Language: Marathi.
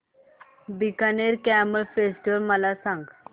बीकानेर कॅमल फेस्टिवल मला सांग